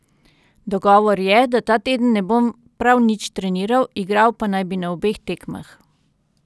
Dogovor je, da ta teden ne bom prav nič treniral, igral pa naj bi na obeh tekmah.